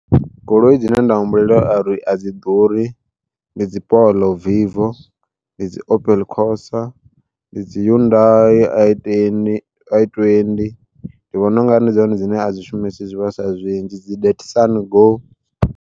Goloi dzine nda humbulela a ri a dzi ḓuri ndi dzi Polo Vivo, ndi dzi Opel Cosa, ndi dzi Hyundai i20 ndi vhona unga ri ndi dzone dzine a dzi shumisi zwivhaswa zwinzhi dzi Datsun Go.